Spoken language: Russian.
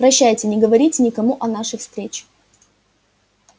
прощайте не говорите никому о нашей встрече